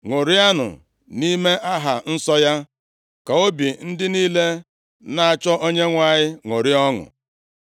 Ṅụrianụ nʼime aha nsọ ya; ka obi ndị niile na-achọ Onyenwe anyị ṅụrịa ọṅụ.